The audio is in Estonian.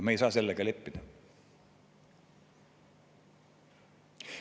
Me ei saa sellega leppida.